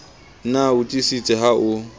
na o tiisitse ha o